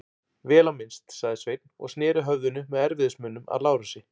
Vel á minnst, sagði Sveinn og sneri höfðinu með erfiðismunum að Lárusi.